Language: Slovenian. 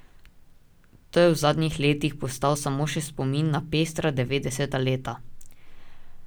To je v zadnjih letih postal samo še spomin na pestra devetdeseta leta.